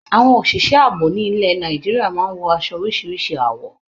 Àwọn òṣị̀ṣẹ́ àbò ní ilẹ̀ Nàìjíríà máa ń wọ aṣọ oríṣiríṣi àwọ̀.